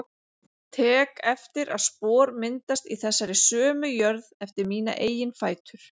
Tek eftir að spor myndast í þessari sömu jörð eftir mína eigin fætur.